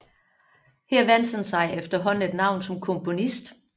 Her vandt han sig efterhånden et navn som komponist